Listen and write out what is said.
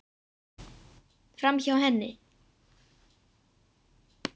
Framhjá henni.